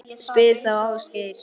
Spyr þá Ásgeir.